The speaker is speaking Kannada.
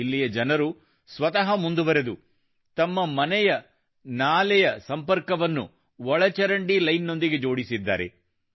ಇಲ್ಲಿಯ ನಾಗರಿಕರು ಸ್ವತಃ ಮುಂದುವರಿದು ತಮ್ಮ ಮನೆಯ ನಾಲೆಯ ಸಂಪರ್ಕವನ್ನು ಒಳಚರಂಡಿ ಲೈನ್ ನೊಂದಿಗೆ ಜೋಡಿಸಿದ್ದಾರೆ